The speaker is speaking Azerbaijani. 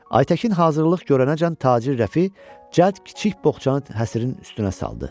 Aytəkin hazırlıq görənəcən tacir Rəfi cəld kiçik boğçanı həsrin üstünə saldı.